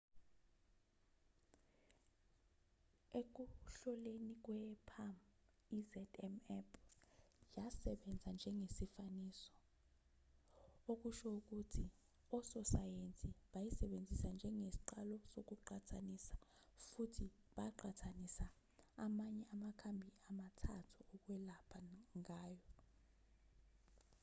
ekuhloleni kwe-palm i-zmapp yasebenza njengesifaniso okusho ukuthi ososayensi bayisebenzisa njengesiqalo sokuqhathanisa futhi baqhathanisa amanye amakhambi amathathu okwelapha nayo